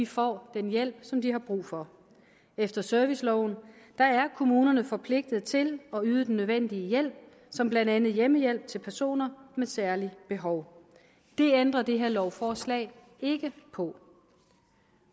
får den hjælp som de har brug for efter serviceloven er kommunerne forpligtet til at yde den nødvendige hjælp som blandt andet hjemmehjælp til personer med særlige behov det ændrer det her lovforslag ikke på